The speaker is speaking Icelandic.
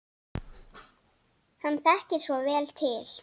Hann þekkir svo vel til.